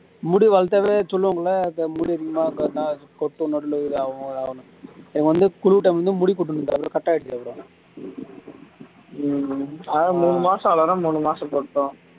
முடி வளத்தாலே சொல்லுவாங்கல்ல கொட்டும் நடுவுல இதாகும் அதாவும்னு எனக்கு வந்து குளுர் time ல வந்து முடி கொட்டும் டா அப்பறம் cut ஆகிடுச்சு அப்பறம் அதெல்லாம் மூணு மாசம் வளரும் மூணு மாசம் கொட்டும்